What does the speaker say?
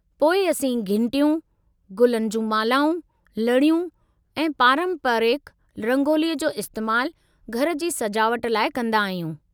पोइ असीं घिंटियूं गुलनि जूं मालाऊं, लड़ियूं ऐं पारंपरिकु रंगोलीअ जो इस्तेमालु घर जी सजावट लाइ कंदा आहियूं।